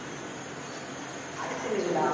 அடிச்சினுக்குதா